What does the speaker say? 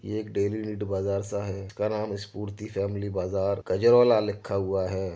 ये एक daily need बाजार सा है। का नाम इसपूर्ति फेेमिली बाजार गजरवाला लिखा हुआ है।